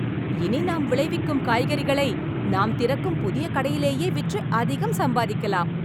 இனி நாம் விளைவிக்கும் காய்கறிகளை நாம் திறக்கும் புதிய கடையிலேயே விற்று, அதிகம் சம்பாதிக்கலாம்